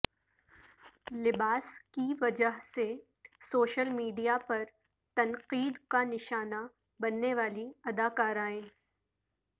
لباس کی وجہ سے سوشل میڈیا پر تنقید کا نشانہ بننے والی اداکارائیں